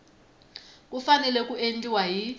ku fanele ku endliwa hi